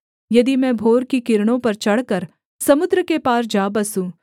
यदि मैं भोर की किरणों पर चढ़कर समुद्र के पार जा बसूँ